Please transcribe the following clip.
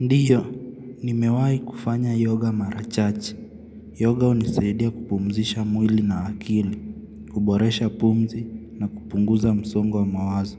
Ndio, nimewai kufanya yoga mara chache. Yoga huniseidia kupumzisha mwili na akili, kuboresha pumzi na kupunguza msongo wa mawazo.